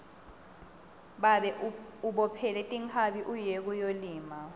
babe ubophele tinkhabi uye kuyolima